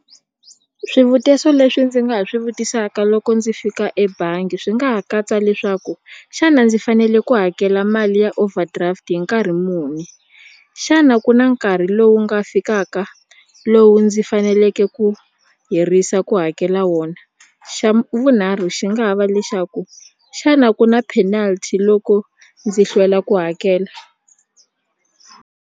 Swivutiso leswi ndzi nga ha swi vutisaka loko ndzi fika ebangi swi nga ha katsa leswaku xana ndzi fanele ku hakela mali ya overdraft hi nkarhi muni xana ku na nkarhi lowu nga fikaka lowu ndzi faneleke ku hirisa ku hakela wona xa vunharhu xi nga ha va lexaku xana ku na penalty loko ndzi hlwela ku hakela.